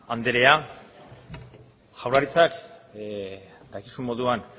anderea jaurlaritzak dakizun moduan